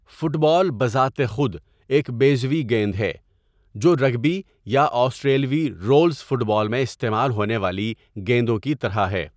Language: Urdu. فٹ بال بذات خود ایک بیضوی گیند ہے، جو رگبی یا آسٹریلوی رولز فٹ بال میں استعمال ہونے والی گیندوں کی طرح ہے۔